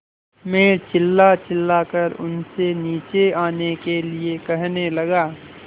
मैं चिल्लाचिल्लाकर उनसे नीचे आने के लिए कहने लगा